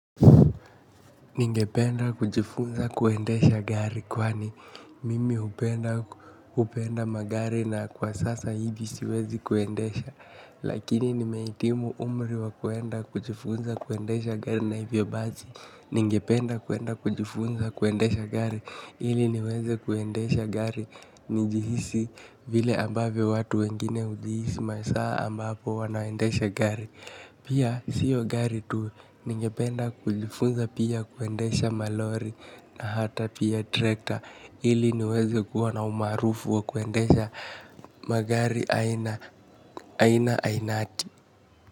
Ningependa kujifunza kuendesha gari kwani mimi hupenda magari na kwa sasa hivi siwezi kuendesha lakini nimeitimu umri wa kuenda kujifunza kuendesha gari na hivyo bazi, ningependa kuenda kujifunza kuendesha gari ili niweze kuendesha gari nijihisi vile ambaveyo watu wengine ujihisi masaa ambapo wanaendesha gari pia sio gari tu ningependa kulifunza pia kuendesha malori na hata pia trekta, ili niweze kuwa na umaarufu wa kuendesha magari aina aina ainati.